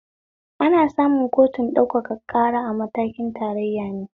Ana samun kotun ɗaukaka ƙara a matakin tarayya ne